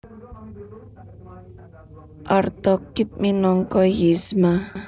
Eartha Kitt minangka Yzma